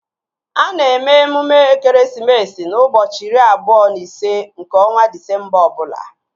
A na-eme emume ekeresimesi n'ụbọchị iri abụọ na ise nke ọnwa Disemba ọbụla